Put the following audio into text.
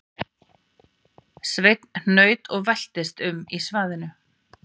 Sveinn hnaut og veltist um í svaðinu